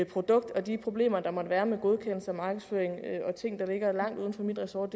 produkt og de problemer der måtte være med godkendelse markedsføring og ting der ligger langt uden for mit ressort